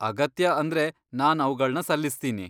ಅಗತ್ಯ ಅಂದ್ರೆ ನಾನ್ ಅವ್ಗಳ್ನ ಸಲ್ಲಿಸ್ತೀನಿ.